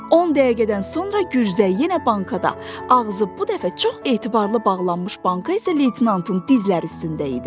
On dəqiqədən sonra gürzə yenə bankada, ağzı bu dəfə çox etibarlı bağlanmış banka isə leytenantın dizləri üstündə idi.